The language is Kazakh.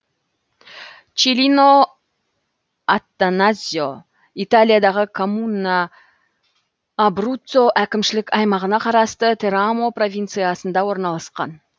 челлино аттаназьо италиядағы коммуна абруццо әкімшілік аймағына қарасты терамо провинциясында орналасқан